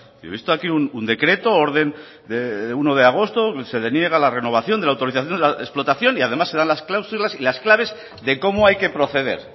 yo he visto aquí un decreto u orden de uno de agosto donde se deniega la renovación de la autorización explotación y además se dan las cláusulas y las claves de cómo hay que proceder